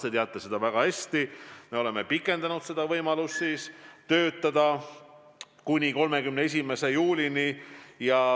Te teate väga hästi, et me oleme pikendanud võimalust töötada Eestis kuni 31. juulini.